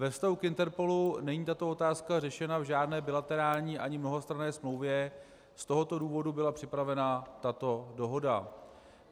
Ve vztahu k INTERPOLu není tato otázka řešena v žádné bilaterální ani mnohostranné smlouvě, z tohoto důvodu byla připravena tato dohoda.